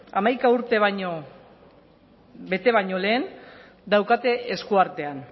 hamaika urte bete baino lehen daukate esku artean